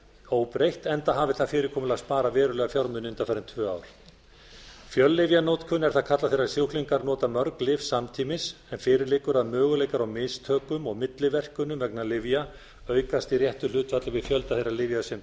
óbreytt enda hafi það fyrirkomulag sparað verulega fjármuni undanfarin tvö ár fjöllyfjanotkun er það kallað þegar sjúklingar nota mörg lyf samtímis en fyrir liggur að möguleikar á mistökum og milliverkunum vegna lyfja aukast í réttu hlutfalli við fjölda þeirra lyfja sem